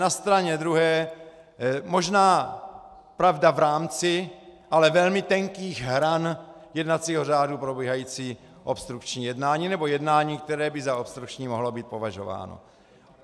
Na straně druhé, možná, pravda, v rámci - ale velmi tenkých - hran jednacího řádu probíhající obstrukční jednání, nebo jednání, které by za obstrukční mohlo být považováno.